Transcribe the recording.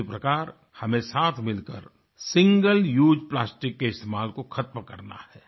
उसी प्रकार हमें साथ मिलकर सिंगल उसे प्लास्टिक के इस्तमाल को खत्म करना है